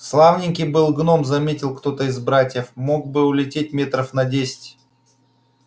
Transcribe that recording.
славненький был гном заметил кто-то из братьев мог бы улететь метров на десять